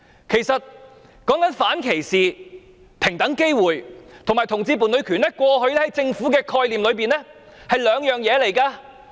談到反歧視、平等機會和同志伴侶權，過去在政府的概念裏是兩回事。